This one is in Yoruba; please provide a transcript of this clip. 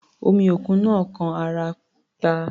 Omi òkun náà kan ara píà.